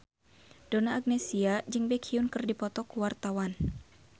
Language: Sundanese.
Donna Agnesia jeung Baekhyun keur dipoto ku wartawan